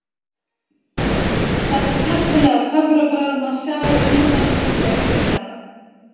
Þetta skemmtilega töfrabragð má sjá í myndbandinu hér fyrir neðan: